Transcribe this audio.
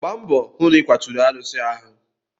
Gba mbọ hụ na ịkwaturu arụsị ahụ!